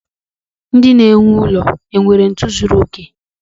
Ndị na-ewu ụlọ nwere ntu zuru oke?